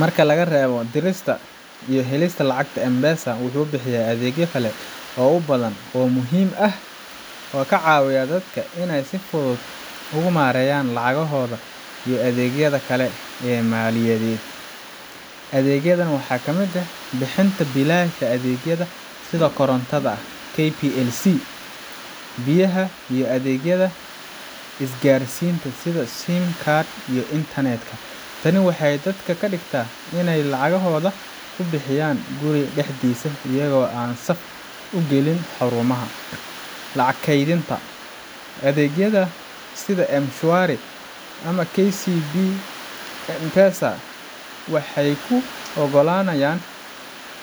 Marka laga reebo dirista iyo helista lacagta, M-Pesa wuxuu bixiyaa adeegyo kale oo badan oo muhiim ah oo ka caawinaya dadka inay si fudud uga maareeyaan lacagahooda iyo adeegyada kale ee maaliyadeed. Adeegyadan waxaa ka mid ah: Bixinta biilasha adeegyada sida korontada KPLC, biyaha, iyo adeegyada isgaarsiinta sida simu cards iyo internet ka. Tani waxay dadka ka dhigtaa inay lacagtooda ku bixiyaan guriga dhexdiisa iyagoo aan saf u gelin xarumaha. Lacag kaydinta: Adeegyada sida M-Shwari ama KCB M-Pesa waxay kuu oggolaanayaan